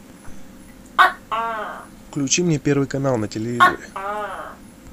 включи мне первый канал на телевизоре